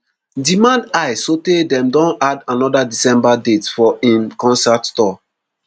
demand high sotay dem don add anoda december date for im concert tour